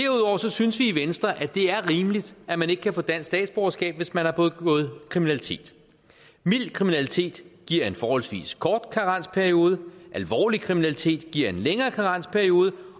synes vi i venstre at det er rimeligt at man ikke kan få dansk statsborgerskab hvis man har begået kriminalitet mild kriminalitet giver en forholdsvis kort karensperiode alvorlig kriminalitet giver en længere karensperiode